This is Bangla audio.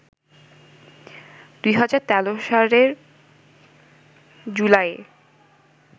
২০১৩ সালের জুলাইয়ে